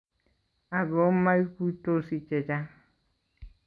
Ako maguitosi chechang